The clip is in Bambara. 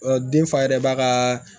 Ɔ den fa yɛrɛ ba ka